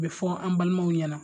Bɛɛ fɔ an balimaw ɲɛna.